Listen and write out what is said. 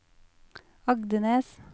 Agdenes